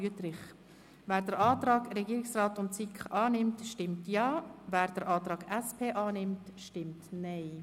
Wer den Antrag Regierungsrat/SiK annimmt, stimmt Ja, wer den Antrag SP-JUSO-PSA annimmt, stimmt Nein.